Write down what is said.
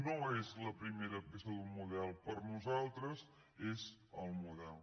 no és la primera peça d’un model per a nosaltres és el model